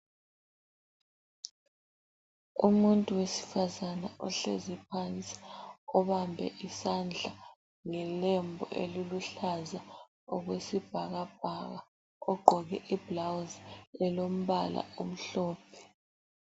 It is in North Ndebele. Umuntu wesifazana ohlezi phansi obambe isandla ngelembu eluluhlaza okwesibhakabhaka ,ogqoke ibhulawuzi elombala omhlophe.